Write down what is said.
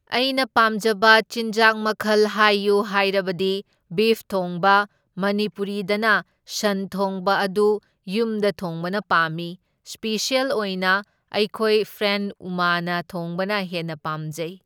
ꯑꯩꯅ ꯄꯥꯝꯖꯕ ꯆꯤꯟꯖꯥꯛ ꯃꯈꯜ ꯍꯥꯏꯌꯨ ꯍꯥꯏꯔꯕꯗꯤ ꯕꯤꯐ ꯊꯣꯡꯕ ꯃꯅꯤꯄꯨꯔꯤꯗꯅ ꯁꯟ ꯊꯣꯡꯕ ꯑꯗꯨ ꯌꯨꯝꯗ ꯊꯣꯡꯕꯅ ꯄꯥꯝꯃꯤ, ꯁ꯭ꯄꯤꯁꯦꯜ ꯑꯣꯏꯅ ꯑꯩꯈꯣꯏ ꯐ꯭ꯔꯦꯟ ꯎꯃꯥꯅ ꯊꯣꯡꯕꯅ ꯍꯦꯟꯅ ꯄꯥꯝꯖꯩ꯫